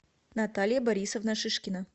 наталья борисовна шишкина